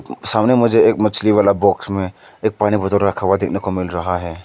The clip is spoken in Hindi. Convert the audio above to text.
सामने मुझे एक मछली वाला बॉक्स में एक पानी बोतल रखा हुआ देखने को मिल रहा है।